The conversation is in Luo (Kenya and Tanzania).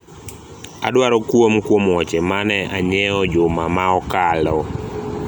adwaro kuom kuom wuoche mane anyiewo juma ma okalo